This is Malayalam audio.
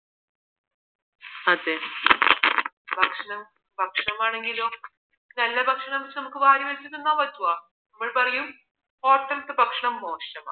അതേ ഭക്ഷണം ഭക്ഷണമാണെങ്കിലും നല്ല ഭക്ഷണം നമുക്ക് വാരി വലിച്ച് തിന്നാൻ പറ്റുമോ നമ്മൾ പറയും hotel ത്തെ ഭക്ഷണം മോശമാ